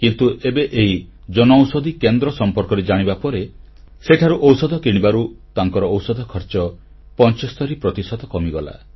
କିନ୍ତୁ ଏବେ ଏହି ଜନଔଷଧି କେନ୍ଦ୍ର ସମ୍ପର୍କରେ ଜାଣିବା ପରେ ସେଠାରୁ ଔଷଧ କିଣିବାରୁ ତାଙ୍କ ଔଷଧ ଖର୍ଚ୍ଚ 75 ପ୍ରତିଶତ କମିଗଲା